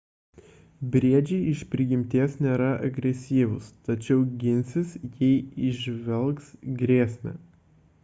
briedžiai iš prigimties nėra agresyvūs tačiau ginsis jei įžvelgs grėsmę